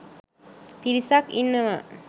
පිරිසක් ඉන්නවා